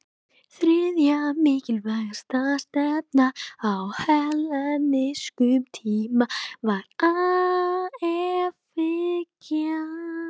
Þriðja mikilvægasta stefnan á hellenískum tíma var efahyggjan.